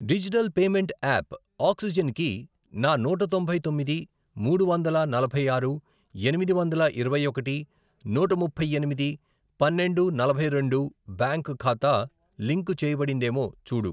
Digital payment app Oxygen కి నా నూట తొంభై తొమ్మిది, మూడు వందల నలభై ఆరు, ఎనిమిది వందల ఇరవై ఒకటి, నూట ముప్పై ఎనిమిది, పన్నెండు, నలభై రెండు, బ్యాంక్ ఖాతా లింకు చేయబడిందేమో చూడు.